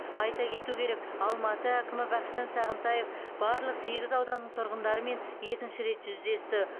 айта кету керек алматы әкімі бақытжан сағынтаев барлық сегіз ауданның тұрғындарымен екінші рет жүздесті